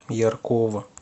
яркова